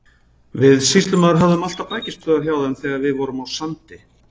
Við sýslumaður höfðum alltaf bækistöðvar hjá þeim þegar við vorum á Sandi.